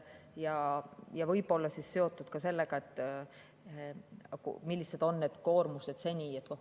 Võib-olla on see seotud ka sellega, millised on need koormused seni olnud.